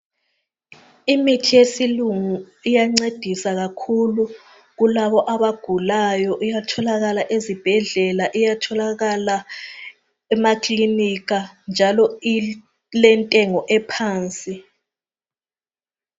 Imithi yesilungu iyancedisa kakhulu kulabo abagulayo iyatholakala ezibhedlela iyatholakala emakilinika njalo ilentengo ephansi